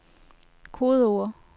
kodeord